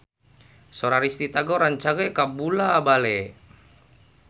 Sora Risty Tagor rancage kabula-bale